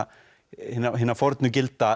hinna hinna fornu gilda